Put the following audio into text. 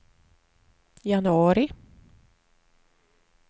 januari